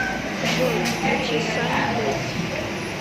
джой включи санни дэйс